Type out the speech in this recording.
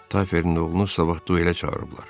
Tayferin oğlunu sabah duelə çağırıblar.